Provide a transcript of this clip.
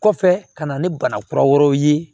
Kɔfɛ ka na ni bana kura wɛrɛw ye